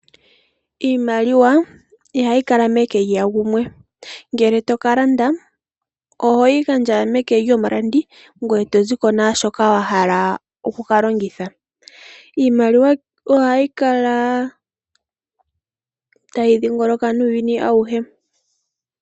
Iimaliwa ihayi kala meke lya gumwe ngele otoka landa ohoyi gandja meke lyomulandithi ngoye toziko naashoka wahala oku ka longitha. Iimaliwa ohayi kala tayi dhingoloka nuuyuni auhe.